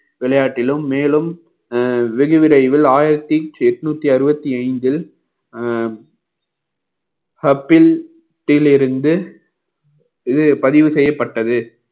விளையாட்டிலும் மேலும் அஹ் வெகு விரைவில் ஆயிரத்தி எட்நூத்தி அறுபத்தி ஐந்தில் அஹ் ஹப்பில் கிழ இருந்து இது பதிவு செய்யப்பட்டது